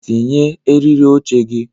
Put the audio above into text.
Tinye eriri oche gị!